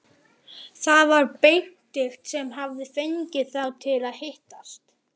Það var Benedikt sem hafði fengið þá til að hittast.